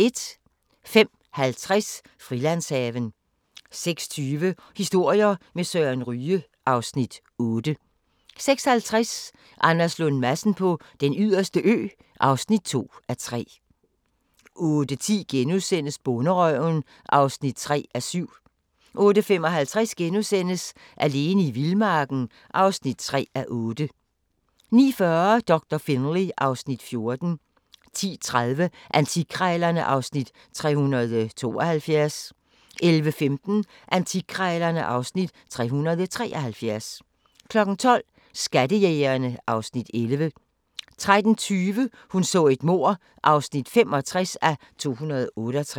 05:50: Frilandshaven 06:20: Historier med Søren Ryge (Afs. 8) 06:50: Anders Lund Madsen på Den Yderste Ø (2:3) 08:10: Bonderøven (3:7)* 08:55: Alene i vildmarken (3:8)* 09:40: Doktor Finlay (Afs. 14) 10:30: Antikkrejlerne (Afs. 372) 11:15: Antikkrejlerne (Afs. 373) 12:00: Skattejægerne (Afs. 11) 13:20: Hun så et mord (65:268)